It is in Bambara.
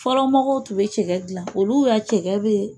Fɔlɔ mɔgɔw tun bɛ cɛgɛ dila olu ka cɛgɛ bɛ